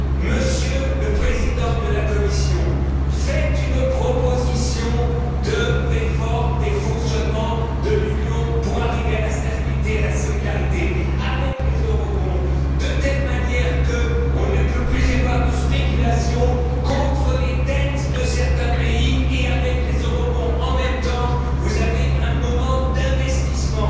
Monsieur le Président de la Commission, faites une proposition de réforme des fonctionnements de l'Union pour arriver à la stabilité et à la solidarité, avec les eurobonds de telle manière qu'il ne puisse plus y avoir de spéculation contre les dettes de certains pays, et avec les eurobonds en même temps, vous avez un moment d'investissement.